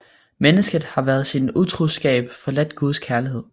Mennesket har ved sin utroskab forladt Guds kærlighed